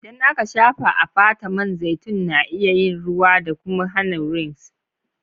Idan aka shafa a fata, man zaitun na iya yin ruwa da kuma hana wrinkles.